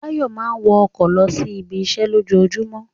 Báyọ̀ máa ń wọ ọkọ̀ lọ sí ibiṣẹ́ lójoojúmọ́